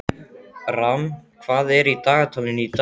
Ram, hvað er í dagatalinu í dag?